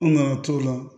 An nana to la